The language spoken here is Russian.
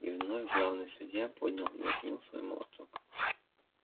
и вновь главный судья поднял и уронил свой молоток